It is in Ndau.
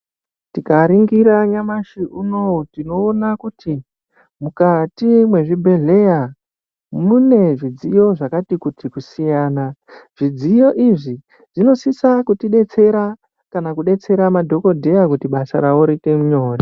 Tikaningira nyamashi uno tinoona kuti mukati mezvibhedhlera mune zvidziyo zvakati kuti kusiyana zvidziyo izvi zvinosisa kutibetsera kana kubetsera madhokodheya kuti basa ravo riite nyore .